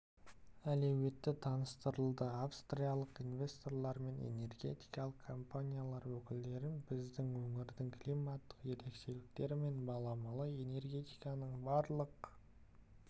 әлеуеті таныстырылды австриялық инвесторлармен энергетикалық компаниялар өкілдерін біздің өңірдің климаттық ерекшеліктері мен баламалы энергетиканың барлық